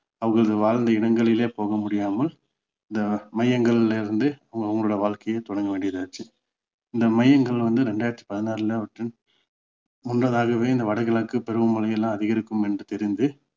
அவர்கள் வாழ்ந்த இடங்களிலே போக முடியாமல் இந்த மையங்கள்ல இருந்து அவங்களுடைய வாழ்கைய தொடங்க வேண்டியதாச்சி இந்த மையங்கள் வந்து ரெண்டாயிரத்தி பதினாறுல வந்து முன்னதாகவே இந்த வடகிழக்கு பருவமழை எல்லாம் அதிகரிக்கும் என்று தெரிந்து